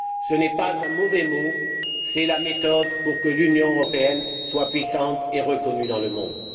Ce n'est pas un mauvais mot, c'est la méthode pour que l'Union européenne soit puissante et reconnue dans le monde.